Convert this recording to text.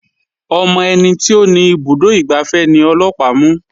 Ọmọ ẹni tí ó ni ibùdó ìgbafẹ́ ni ọlọ́pàá mú.